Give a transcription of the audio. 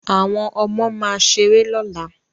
Àwọn ọmọ máa ṣeré lọ́la